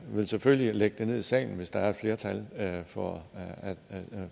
vil selvfølgelig lægge det ned i salen hvis der er flertal for